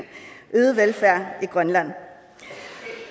øget velfærd i grønland